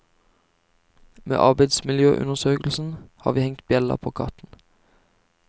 Med arbeidsmiljøundersøkelsen har vi hengt bjella på katten.